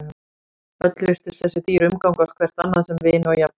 Öll virtust þessi dýr umgangast hvert annað sem vini og jafningja.